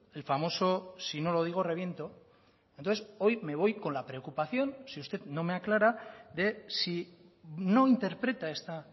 el famoso si no lo digo reviento entonces hoy me voy con la preocupación si usted no me aclara de si no interpreta esta